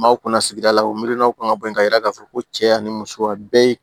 N b'aw kunna sigida la u miirila kan ka bɔ yen ka yira k' fɔ ko cɛya ni muso ka bɛɛ